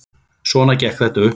Svona gekk þetta upp.